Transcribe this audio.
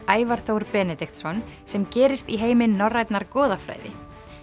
Ævar Þór Benediktsson sem gerist í heimi norrænnar goðafræði